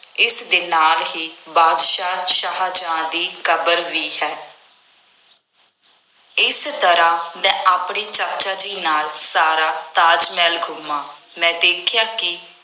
ਇਸਦੇ ਨਾਲ ਹੀ ਬਾਦਸ਼ਾਹ ਸ਼ਾਹਜਹਾਂ ਦੀ ਕਬਰ ਵੀ ਹੈ। ਇਸ ਤਰ੍ਹਾਂ ਮੈ ਆਪਣੇ ਚਾਚਾ ਜੀ ਨਾਲ ਸਾਰਾ ਤਾਜ ਮਹਿਲ ਘੁੰਮਿਆ, ਮੈਂ ਦੇਖਿਆ ਕਿ